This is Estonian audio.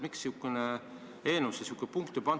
Miks eelnõusse selline punkt on pandud?